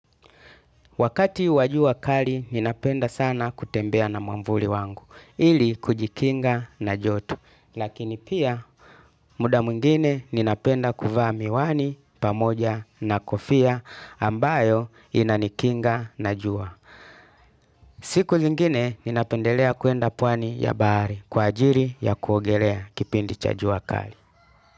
Wakati wa jua kali ninapenda sana kutembea na mwavuli wangu ili kujikinga na joto lakini pia muda mwingine ninapenda kuvaa miwani pamoja na kofia ambayo inanikinga na jua. Siku zingine ninapendelea kuenda pwani ya bahari kwa ajili ya kuogelea kipindi cha jua kali.